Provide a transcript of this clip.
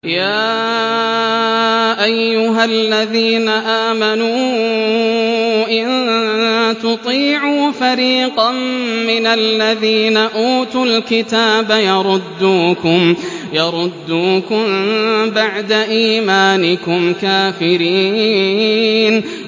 يَا أَيُّهَا الَّذِينَ آمَنُوا إِن تُطِيعُوا فَرِيقًا مِّنَ الَّذِينَ أُوتُوا الْكِتَابَ يَرُدُّوكُم بَعْدَ إِيمَانِكُمْ كَافِرِينَ